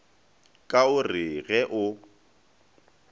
ka o re ge o